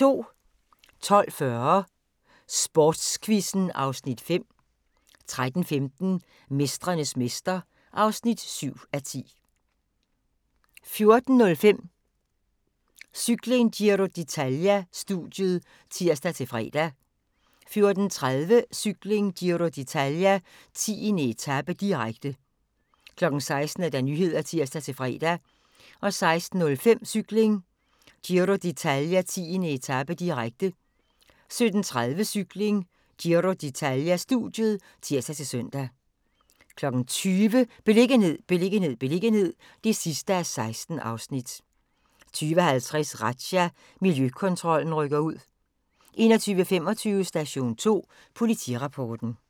12:40: Sportsquizzen (Afs. 5) 13:15: Mestrenes mester (7:10) 14:05: Cykling: Giro d'Italia-studiet (tir-fre) 14:30: Cykling: Giro d'Italia - 10. etape, direkte 16:00: Nyhederne (tir-fre) 16:05: Cykling: Giro d'Italia - 10. etape, direkte 17:30: Cykling: Giro d'Italia-studiet (tir-søn) 20:00: Beliggenhed, beliggenhed, beliggenhed (16:16) 20:50: Razzia – Miljøkontrollen rykker ud 21:25: Station 2 Politirapporten